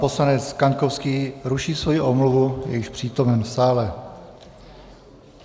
Poslanec Kaňkovský ruší svoji omluvu, je již přítomen v sále.